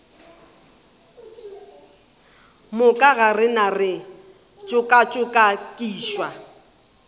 moka ga rena re tšokatšokišwa